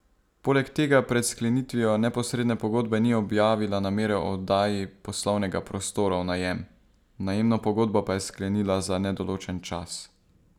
Poleg tega pred sklenitvijo neposredne pogodbe ni objavila namere o oddaji poslovnega prostora v najem, najemno pogodbo pa je sklenila za nedoločen čas.